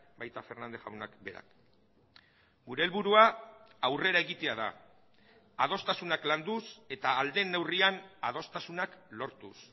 baita fernández jaunak berak gure helburua aurrera egitea da adostasunak landuz eta ahal den neurrian adostasunak lortuz